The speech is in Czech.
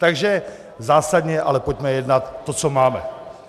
Takže zásadně, ale pojďme jednat to, co máme.